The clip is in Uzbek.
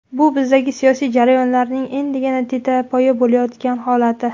Bu bizdagi siyosiy jarayonlarning endigina tetapoya bo‘layotgan holati.